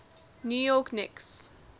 new york knicks